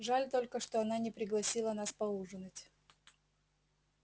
жаль только что она не пригласила нас поужинать